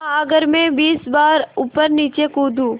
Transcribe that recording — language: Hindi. हाँ अगर मैं बीस बार ऊपरनीचे कूदूँ